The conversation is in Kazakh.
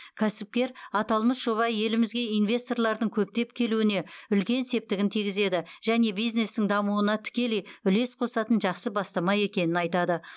кәсіпкер аталмыш жоба елімізге инвесторлардың көптеп келуіне үлкен септігін тигізеді және бизнестің дамуына тікелей үлес қосатын жақсы бастама екенін айтады